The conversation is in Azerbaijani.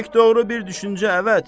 Pək doğru bir düşüncə, əvət.